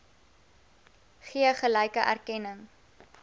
gee gelyke erkenning